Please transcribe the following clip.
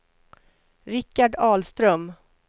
Richard Ahlström